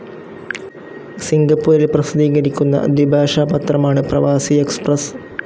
സിംഗപ്പൂരിൽ പ്രസിദ്ധീകരിക്കുന്ന ദ്വിഭാഷാ പത്രമാണ് പ്രവാസി എക്സ്പ്രസ്സ്.